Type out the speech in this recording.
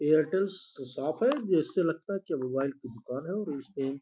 Airtel साफ़ है। जिससे लगता है की यह मोबाइल की दुकान है और इसपे --